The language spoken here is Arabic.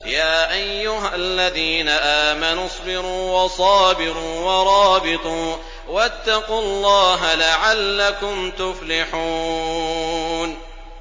يَا أَيُّهَا الَّذِينَ آمَنُوا اصْبِرُوا وَصَابِرُوا وَرَابِطُوا وَاتَّقُوا اللَّهَ لَعَلَّكُمْ تُفْلِحُونَ